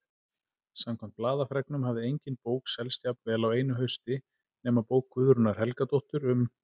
Samkvæmt blaðafregnum hafði engin bók selst jafnvel á einu hausti nema bók Guðrúnar Helgadóttur um